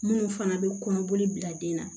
Minnu fana bɛ kɔnɔboli bila den na